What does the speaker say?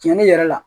Cɛnni yɛrɛ la